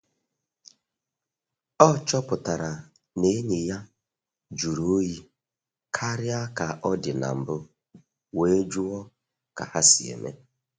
Ọ chọpụtara na enyi ya jụrụ oyi karịa ka ọ dị na mbụ wee jụọ ka ha si eme.